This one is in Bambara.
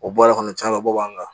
O bɔra kɔni caman bɔ b'an kan